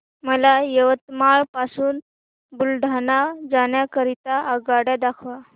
मला यवतमाळ पासून बुलढाणा जाण्या करीता आगगाड्या दाखवा